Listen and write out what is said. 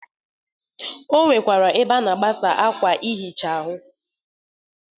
O nwekwara ebe a na-agbasa akwa ihicha ahụ.